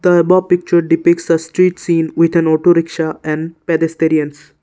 the above picture defects as street seen with an autorickshaw an by restaurants.